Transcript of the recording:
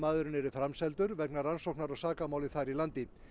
yrði framseldur vegna rannsóknar á sakamáli þar í landi